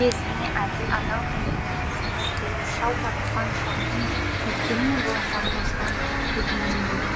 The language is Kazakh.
иесіне әділ адал ниетімен қызмет қылу шау тартқан шалдың өткені мен болашағы осыған көгендеулі